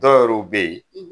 Dɔw yɛruw be ye